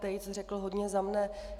Tejc řekl hodně za mne.